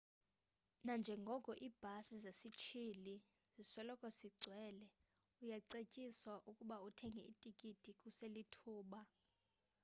nanjengoko iibhasi zesisithili zisoloko sigcwele uyacetyiswa ukuba uthenge itikiti kuselithuba